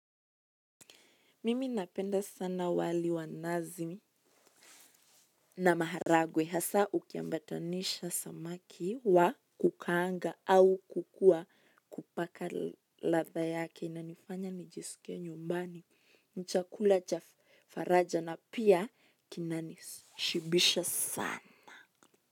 Mimi napenda sana wali wanazi na maharagwe hasa ukiambatanisha samaki wa kukaanga au kukua wa kupaka latha yake inanifanya nijisikie nyumbani ni chakula cha faraja na pia kinanishibisha sana.